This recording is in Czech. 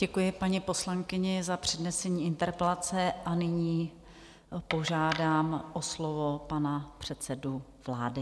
Děkuji paní poslankyni za přednesení interpelace a nyní požádám o slovo panu předsedu vlády.